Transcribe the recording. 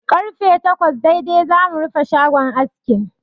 Karfe takwas daidai zamu rufe shagon askin.